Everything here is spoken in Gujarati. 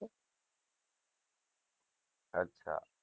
અચા